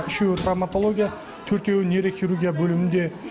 үшеуі травмотология төртеуі нейрохирургия бөлімінде